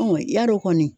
yarɔ kɔni